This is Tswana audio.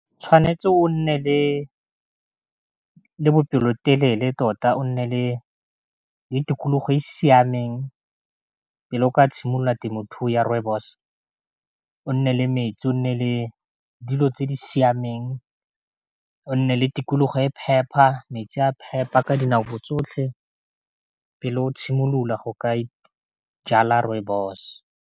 Tshwanetse o nne le bopelotelele tota, o nne le tikologo e siameng pele o ka tshimolola temothuo ya rooibos-o, nne le metsi o nne le dilo tse di siameng o nne le tikologo e e phepa metsi a phepa ka dinako tsotlhe, pele o tshimolola go ka jala rooibos.